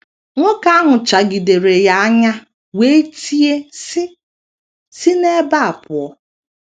Nwoke ahụ chagidere ya anya wee tie, sị: “ Si n’ebe a pụọ.